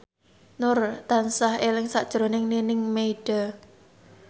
Nur tansah eling sakjroning Nining Meida